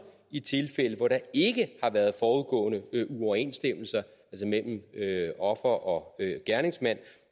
i tilfælde hvor der ikke har været forudgående uoverensstemmelser mellem offer og gerningsmand